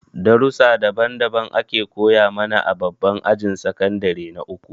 Darussa daban daban ake koya mana a babban ajin sakandire na uku